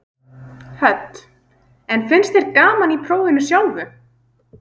Hödd: En finnst þér gaman í prófinu sjálfu?